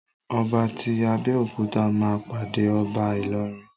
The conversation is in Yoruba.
Ọba ti Abéòkúta ma pàdé ọba Ilorin.